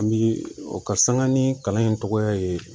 An bi o ka sanga ni kalan in tɔgɔ ye